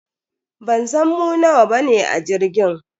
Bansan mu nawa bane a jirgin.